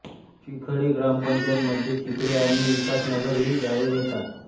चिखळे ग्रामपंचायतीमध्ये चिखळे आणि विकासनगर ही गावे येतात